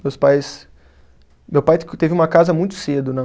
Meus pais. Meu pai teve uma casa muito cedo, né?